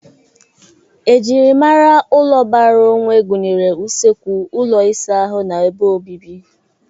Ejirimara ụlọ bara onwe gụnyere usekwu, ụlọ ịsa ahụ, na ebe obibi.